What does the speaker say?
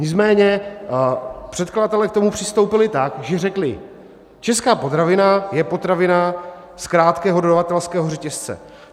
Nicméně předkladatelé k tomu přistoupili tak, že řekli: česká potravina je potravina z krátkého dodavatelského řetězce.